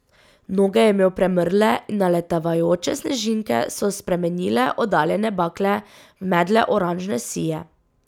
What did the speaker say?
Noge je imel premrle in naletavajoče snežinke so spremenile oddaljene bakle v medle oranžne sije.